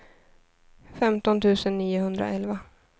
femton tusen niohundraelva